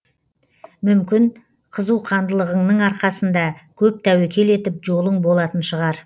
мүмкін қызуқандылығыңның арқасында көп тәуекел етіп жолың болатын шығар